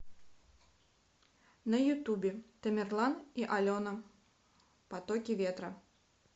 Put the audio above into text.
на ютубе тамерлан и алена потоки ветра